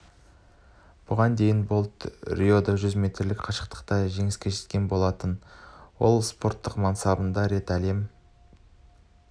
бұған дейін болт риода жүз метрлік қашықтықта да жеңіске жеткен болатын ол спорттық мансабында рет әлем